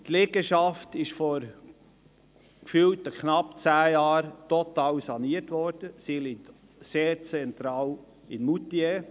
Die Liegenschaft wurde vor gefühlten knapp zehn Jahren total saniert, sie liegt sehr zentral in Moutier.